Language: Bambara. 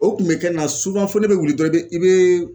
O kun be kɛ na fo ne be wuli dɔrɔn i be i bee